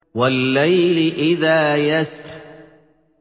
وَاللَّيْلِ إِذَا يَسْرِ